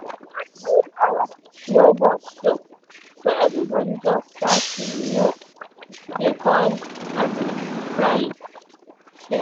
one whole hour no bus show so everybody just start to um dey call um ride share